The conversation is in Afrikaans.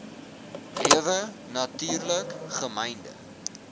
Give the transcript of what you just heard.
lewe natuurlik gemynde